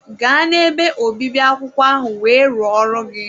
Gaa n'ebe obibi akwụkwọ ahụ wee rụọ ọrụ gị!